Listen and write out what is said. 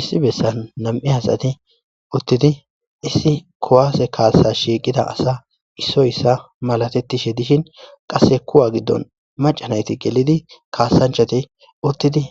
Issi bessan nam'u hasati uttidi issi kowaase kaasa shiiqida asa issoyissa malatetishe dishin qasse kuwa giddon macanayti gelidi kaasanchati uttidi